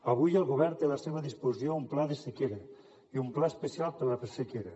avui el govern té a la seva disposició un pla de sequera i un pla especial per a la presequera